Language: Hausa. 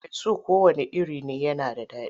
Farfesu kowanne iri ne yana da daɗi.